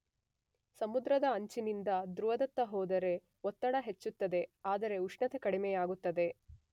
ಸಮುದ್ರದ ಅಂಚಿನಿಂದ ಧ್ರುವದತ್ತ ಹೋದರೆ ಒತ್ತಡ ಹೆಚ್ಚುತ್ತದೆ ಆದರೆ ಉಷ್ಣತೆ ಕಡಿಮೆಯಾಗುತ್ತದೆ.